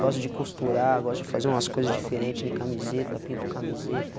Gosto de costurar, gosto de fazer umas coisas diferentes em camiseta, pinto camiseta.